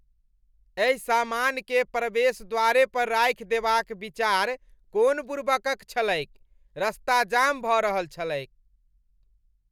एहि सामानकेँ प्रवेश द्वारे पर राखि देबाक विचार कोन बुड़बकक छलैक, रस्ता जाम भऽ रहल छलैक।